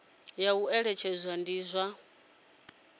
ya u eletshedza ndi zwa